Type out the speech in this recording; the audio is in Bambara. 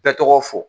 Bɛɛ tɔgɔ fɔ